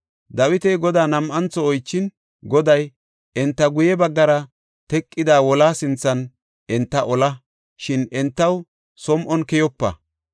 Dawiti Godaa nam7antho oychin, Goday, “Enta guye baggara teqada wolaa sinthan enta ola, shin entaw som7on keyopa.